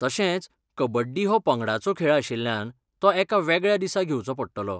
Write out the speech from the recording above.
तशेंच, कबड्डी हो पंगडाचो खेळ आशिल्ल्यान, तो एका वेगळ्या दिसा घेवचो पडटलो.